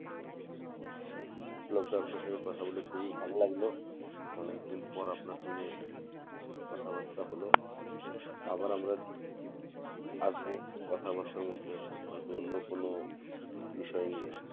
বিপ্লব দা আপনার সাথে কথা বলে খুবই ভালো লাগলো, অনেকদিন পর আপনার সঙ্গে কথা বাত্রা হল আবার আমরা আসবো কথা বাত্রার মধ্যে হয়তো অন্য কোনো বিষয় নিয়ে